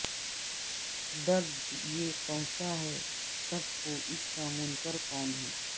درد یہ پہنچا ہے سب کو اس کا منکرکون ہے